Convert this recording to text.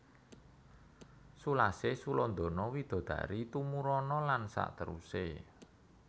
Sulasih sulandana widodari tumuruna lan sakteruse